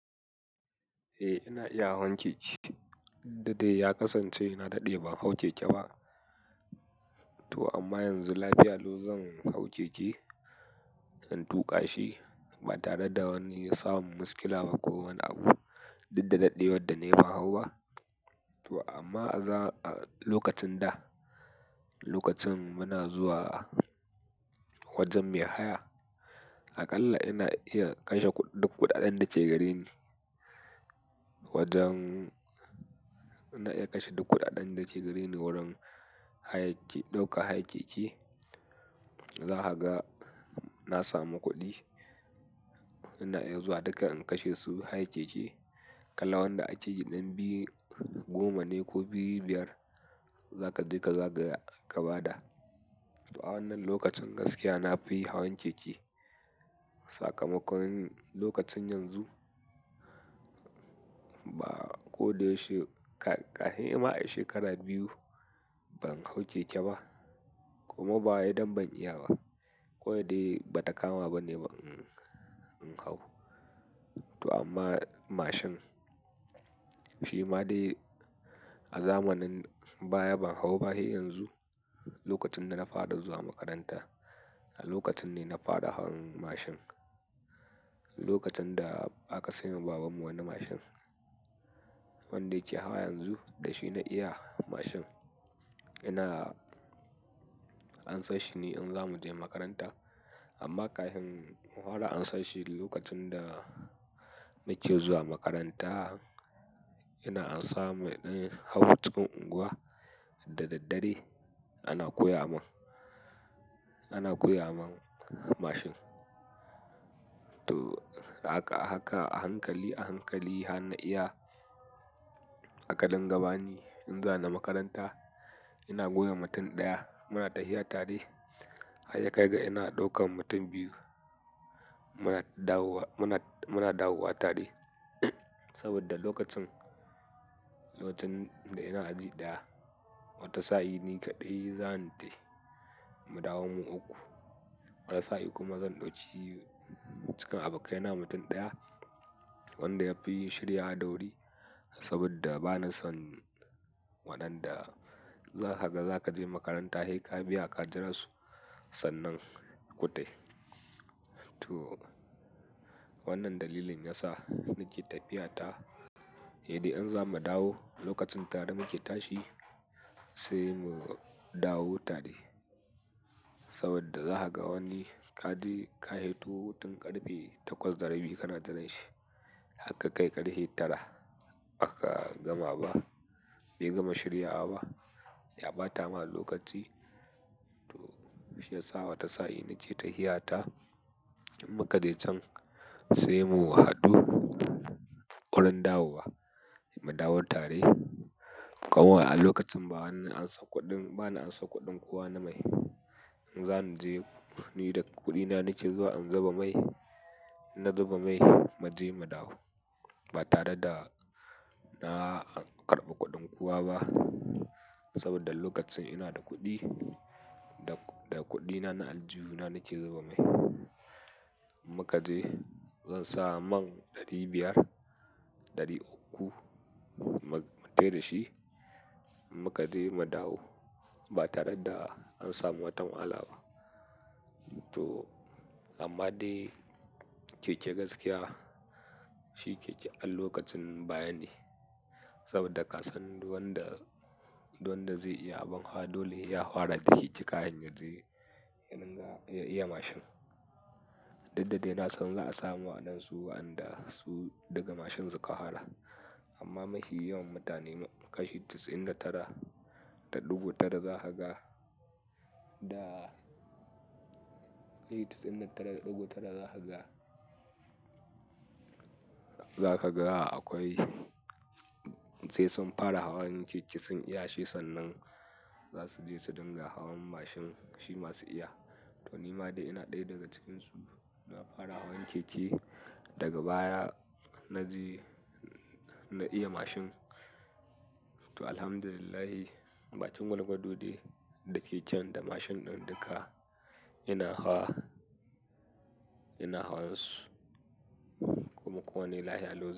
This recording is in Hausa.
Eh ina iya hawan keke. Duk da dai ya kasance na daɗe ban hau keke ba. To amma yanzu lafiya lau zan hau keke, in tuƙa shi ba tare da wani ya samu muskila ba ko wani abu. Duk da ɗaɗewar da nayi ban hauba. To amma a lokacin da, lokacin muna zuwa wajen mai haya, aƙalla ina iya kashe kuɗi duk kuɗaɗen da ke gare ni. Wajen ina iya kashe duk kuɗaɗen da ke gare ni wurin hayace, ɗaukar hayar keke. Za kaga na sami kuɗi, ina iya zuwa duka in kashe su hayar keke. Kalan wanda akeyi ɗan biyu goma ne ko biyu biyar za ka je ka zagaya ka ba da. To a wannan lokacin gaskiya na fi hawan keke. Sakamakon lokacin yanzu ba ko da yaushe ka, kai harma a shekaru biyu ban hau keke ba. Kuma ba wai dan ban iya ba ko dai ba ta kama ba ne ba, in hau. To amma mashin, shi ma dai a zamanin baya ban hau ba. Sai yanzu lokacin da na fara zuwa makaranta, lokacin ne na fara hawan mashin. Lokacin da aka sayo wa baban mu wani mashin, wanda yake hawa yanzu da shi na iya mashin. Ina ansash shi ne in zamu je makaranta. Amma ƙahin in fara ansashi lokacin da muke zuwa makaranta, yana ansa mu ɗaya hau cikin unguwa da daddare ana koya mun, ana koya mun mashin. To ahaka ahaka a hankali a hankali har na iya aka dinga bani in za ni makaranta. Ina goya mutum ɗaya muna tahiya tare har ya kai ga ina ɗaukan mutum biyu muna dawowa, muna, muna dawowa tare. Saboda lokacin, lokacin da ina aji ɗaya wata sa'i ni kaɗai zan tahi mu dawo mu uku. Wata sa'i kuma zan ɗauki cikin abokaina mutum ɗaya wanda ya fi shiryawa da wuri saboda ba na son waɗanda za ka ga za ka je makaranta kai ka biya ka jira su sannan ku tafi. To wannan dalilin yasa nake tafiya ta, sai dai idan za mu dawo lokacin tare muke tashi sai mu dawo tare. Saboda za ka ga wani ka je ka hito hutun ƙarfe takwas da rabi kana jiran shi har ka kai ƙarfe tara ba ka gama ba. Bai gama shirya wa ba ya ɓata ma lokaci. To shi ya sa wata sa'i ni ke tafiya ta. Mu ka je can sai mu haɗu wurin dawowa mu dawo tare. Kawai a lokacin ba wani ansa kuɗin, bana ansa kuɗin kuwa na mai. Zan je ni da kuɗina nake zuwa in zuba mai. Na zuba mai mu je mu dawo ba tare da na karɓa kuɗin kowa ba. Saboda lokacin ina da kuɗi, da kuɗi na na aljuhu na nake zuba mai. Mu ka je zan sa man ɗari biyar ɗari uku mu fita da shi. Mu ka je mu dawo ba tare da an samu watan matsala ba. To amma dai keke gaskiya shi keke an lokacin baya ne saboda ka san duk wanda, duk wanda zai iya abin hawa dole ya hara da kake kahin yazo ya dinga ya iya mashin. Duk da dai na san za a samu waɗansu wanda su daga mashin suka hara. Amma mafi yawan mutane kashi 99.9 za ka ga da, kashi 99.9 za ka ga, za ka ga akwai sai sun fara hawan keke sun iya shi sannan za su je su dinga hawan mashin shi ma su iya. To ni ma dai ina ɗaya daga cikinsu na fara hawan keke daga baya na ji na iya mashin. To Alhamdulillah, batun gwalgwadodi da keken da mashin ɗin duka ina hawa, ina hawan su kuma ko wane lafiya lau zan.